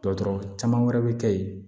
Dɔgɔtɔrɔ caman wɛrɛ bɛ kɛ yen